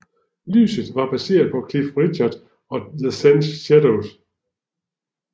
Lyden var baseret på Cliff Richard og The Shadows